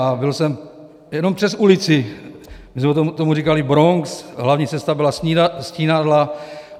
A byl jsem jenom přes ulici, my jsme tomu říkali Bronx, hlavní cesta byla Stínadla.